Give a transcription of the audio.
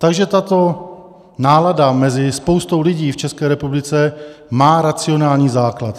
Takže tato náladu mezi spoustou lidí v České republice má racionální základ.